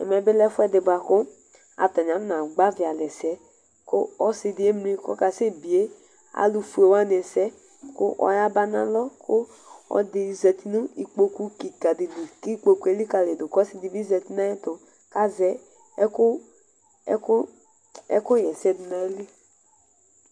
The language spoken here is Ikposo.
Ɛmɛbi lɛ ɛfʋɛsi bʋakʋ atani akɔna gbavi alɛ ɛsɛ kʋ ɔsidi emli kʋ ɔkasɛbie alʋfue wani ɛsɛ kʋ ɔyaba nʋ alɔ kʋ ɔlʋɛdi zati nʋ ikpokʋ kikadi li kʋ ikpokʋ elikali dʋ kʋ ɔsidi bi zati nʋ ayʋ ɛtʋ kʋ azɛ ɛkʋ xaɛsɛ dʋnʋ ayili